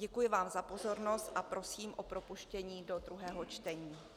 Děkuji vám za pozornost a prosím o propuštění do druhého čtení.